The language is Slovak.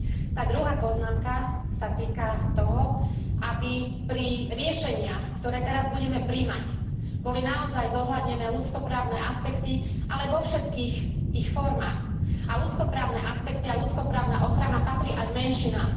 Tá druhá poznámka sa týka toho, aby pri riešeniach, ktoré teraz budeme prijímať, boli naozaj zohľadnené ľudskoprávne aspekty, ale vo všetkých ich formách a ľudskoprávne aspekty a ľudskoprávna ochrana patrí aj menšinám.